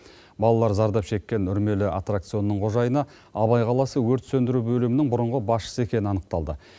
балалар зардап шеккен үрмелі аттракционның қожайыны абай қаласы өрт сөндіру бөлімінің бұрынғы басшысы екені анықталды